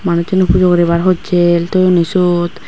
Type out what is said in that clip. manussune pujo guribar hossel toyonni sot.